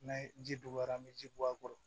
N'a ye ji dɔgɔyara an bɛ ji bɔ a kɔrɔ